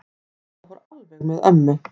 Þetta fór alveg með ömmu.